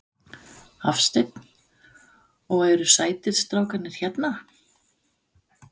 Hafsteinn: Og eru sætir strákarnir hérna?